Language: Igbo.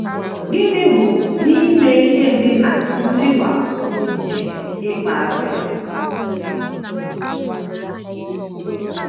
Gịnị bụ n’ime ihe ndị na - ntiwapụ nke ịkpọasị a?